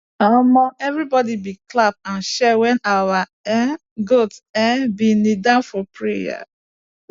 everybody been dey clap and cheer when our um goat um been kneel down for prayer